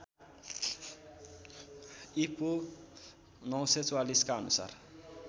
ईपू ९४४ का अनुसार